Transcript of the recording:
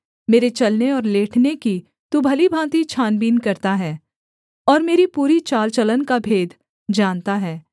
मेरे चलने और लेटने की तू भली भाँति छानबीन करता है और मेरी पूरी चाल चलन का भेद जानता है